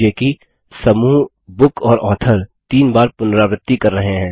ध्यान दीजिये कि समूह बुक और ऑथर तीन बार पुनरावृत्ति कर रहे हैं